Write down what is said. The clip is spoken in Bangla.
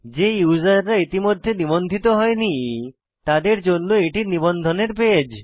যে ইউসাররা ইতিমধ্যে নিবন্ধিত হয়নি তাদের জন্য এটি নিবন্ধনের পেজ